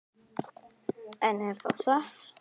En er það satt?